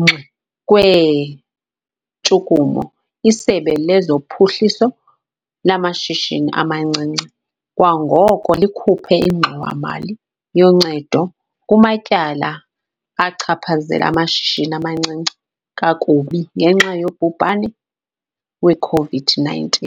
ngxi kweentshukumo, iSebe lezoPhuhliso laMashishini amaNcinci kwangoko likhuphe ingxowa-mali yoncedo kumatyala achaphazela amashishini amancinci kakubi ngenxa yobhubhane we-COVID-19 .